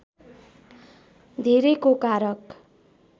धेरैको कारक